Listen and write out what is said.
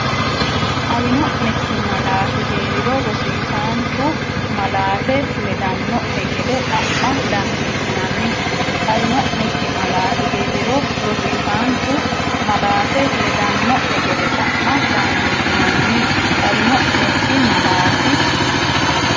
Xawino’nekki malaati hee’riro, rosiisaanchu malaate ledanno’ne gede xa’ma dandiitinanni Xawino’nekki malaati hee’riro, rosiisaanchu malaate ledanno’ne gede xa’ma dandiitinanni Xawino’nekki malaati.